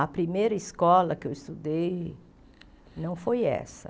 A primeira escola que eu estudei não foi essa.